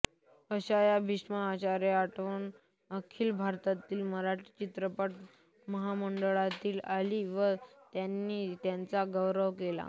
अशा या भीष्माचार्याची आठवण अखिल भारतीय मराठी चित्रपट महामंडळाला आली व त्यांनी त्यांचा गौरव केला